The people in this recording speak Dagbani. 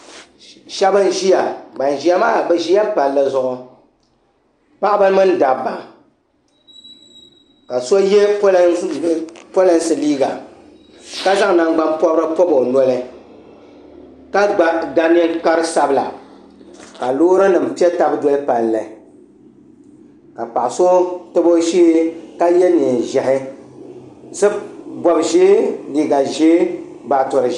Sheba n ʒia ban ʒia maa bɛ ʒila palli zuɣu paɣaba mini dabba ka so ye polinsi liiga ka zaŋ nangban'pobra pobi o noli ka ga ninkpari sabla ka loori nima piɛ taba doli palli ka paɣa so tabi o shee ka ye niɛn'ʒehi bob'ʒee liiga ʒee baatori.